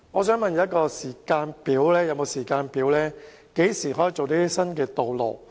請問局長是否有時間表，何時能興建新道路？